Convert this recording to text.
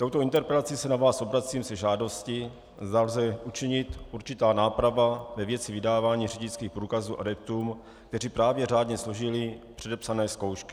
Touto interpelací se na vás obracím se žádostí, zda lze učinit určitou nápravu ve věci vydávání řidičských průkazů adeptům, kteří právě řádně složili předepsané zkoušky.